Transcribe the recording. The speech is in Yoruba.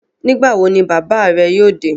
Nígbà wo ni bàbáà rẹ yóò dé?